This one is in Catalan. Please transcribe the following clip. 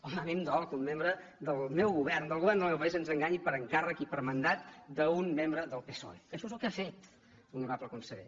home a mi em dol que un membre del meu govern del govern del meu país ens enganyi per encàrrec i per mandat d’un membre del psoe que això és el que ha fet honorable conseller